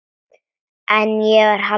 En ég var haldin.